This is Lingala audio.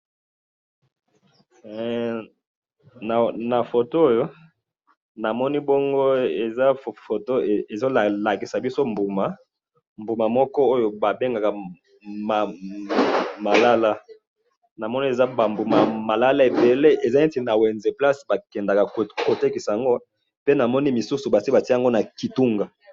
na photo oyo namoni bongo eza photo ezolakisa biso mbuma mbuma moko oyo babengaka malala namoni eza ba mbuma malala ebele ezalaki na wenze place bakendaka kotekisa yango pe namoni misusu basi batiaki yango na kitunga